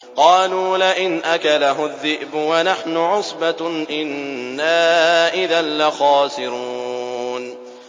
قَالُوا لَئِنْ أَكَلَهُ الذِّئْبُ وَنَحْنُ عُصْبَةٌ إِنَّا إِذًا لَّخَاسِرُونَ